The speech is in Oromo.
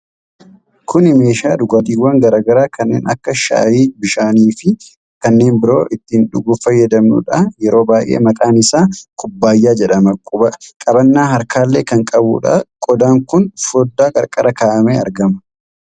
Kuni meeshaa dhugaatiwwan garaa garaa kanneen akka shaayii, bishaanii fi kanneen biroo ittiin dhuguuf fayyaduudha. Yeroo baay'ee maqaan isaa Kubbaayyaa jedhama. Qabannaa harkaallee kan qabudha. Qodaan kun foddaa qarqaraan ka'amee argama.